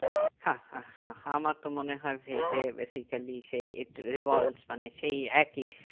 হা হা হা আমার তো মনে হয় veg এ basically সেই eat revolves মানে সেই একই